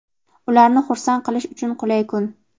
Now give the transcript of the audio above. ularni "xursand" qilish uchun qulay kun).